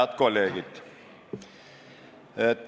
Head kolleegid!